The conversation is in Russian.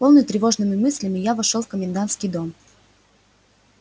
полный тревожными мыслями я вошёл в комендантский дом